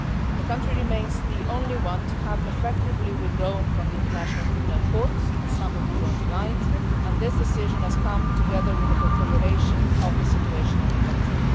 The country remains the only one to have effectively withdrawn from the International Criminal Court, as some of the speakers pointed out, and this decision has come together with a deterioration of the situation in the country.